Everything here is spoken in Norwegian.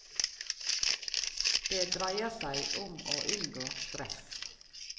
Det dreier seg om å unngå stress.